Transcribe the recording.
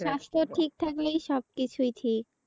স্বাস্থ্য ঠিক থাকলে সব কিছুই ঠিক।